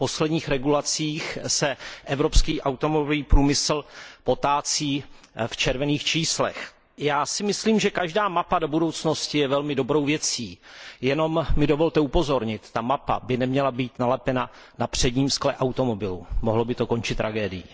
Po posledních regulacích se evropský automobilový průmysl potácí v červených číslech. Já si myslím, že každá mapa do budoucnosti je velmi dobrou věcí, jenom mi dovolte upozornit, že ta mapa by neměla být nalepena na předním skle automobilu, mohlo by to končit tragédií.